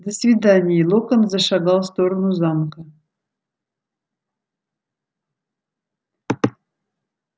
до свидания и локонс зашагал в сторону замка